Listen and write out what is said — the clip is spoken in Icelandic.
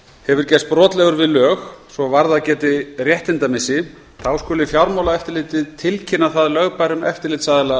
hefur gerst brotlegur við lög svo varðað geti réttindamissi skuli fjármálaeftirlitið tilkynna það lögbærum eftirlitsaðila